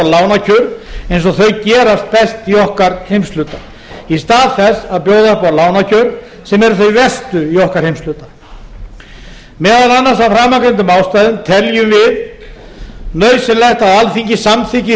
lánakjör eins og þau gerast best í okkar heimshluta í stað þess að bjóða upp á lánakjör sem eru þau verstu í okkar heimshluta meðal annars af framangreindum ástæðum teljum við nauðsynlegt að alþingi samþykki